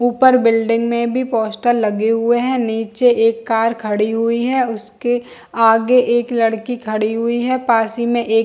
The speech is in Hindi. ऊपर बिल्डिंग में भी पोस्टर लगे हुए है। नीचे एक कार हुई है। उसके आगे एक लड़की खड़ी हुई है। पास ही में एक --